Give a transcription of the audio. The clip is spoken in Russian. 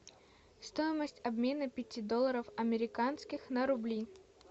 стоимость обмена пяти долларов американских на рубли